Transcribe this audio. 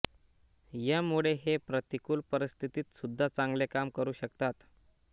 यामुळे हे प्रतिकूल परिस्थितीत सुद्धा चांगले काम करू शकतात